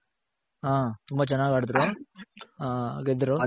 ಹ ತುಂಬ ಚೆನಾಗ್ ಆಡದ್ರು ಹ ಗೆದ್ರು